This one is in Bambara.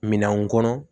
Minɛnw kɔnɔ